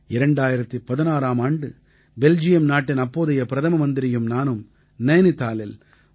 2016ஆம் ஆண்டு பெல்ஜியம் நாட்டின் அப்போதைய பிரதம மந்திரியும் நானும் நைனிதாலில் 3